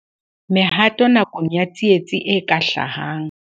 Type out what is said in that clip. Mehato nakong ya tsietsi e ka hlahang.